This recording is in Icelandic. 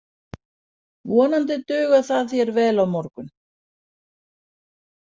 Vonandi dugar það þér vel á morgun.